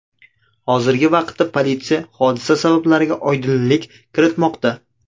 Hozirgi vaqtda politsiya hodisa sabablariga oydinlik kiritmoqda.